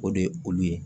O de ye olu ye